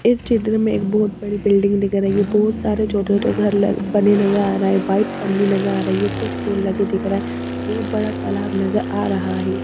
इस चित्र में एक बहुत बड़ी बिल्डिंग दिख रही है बहुत सारे छोटे छोटे घर ल बने नजर आ रहा है वाइट पन्नी नजर आ रही है कुछ पेड़ लगे दिख रहा है बहुत बड़ा तालाब नजर आ रहा है।